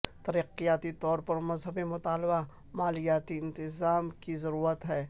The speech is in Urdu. ترقیاتی طور پر مزید مطالبہ مالیاتی انتظام کی ضرورت ہے